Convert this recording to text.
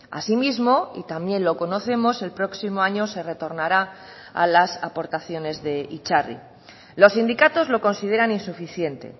asimismo y también lo conocemos el próximo año se retornará a las aportaciones de itzarri los sindicatos lo consideran insuficiente